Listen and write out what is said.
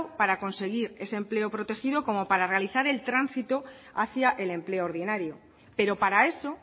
para conseguir ese empleo protegido como para realizar el tránsito hacia el empleo ordinario pero para eso